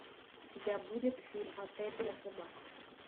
у тебя будет фильм отель для собак